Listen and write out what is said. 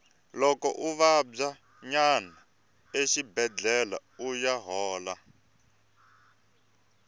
loko u vabya yana exibedlhele uya hola